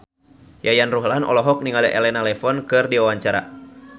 Yayan Ruhlan olohok ningali Elena Levon keur diwawancara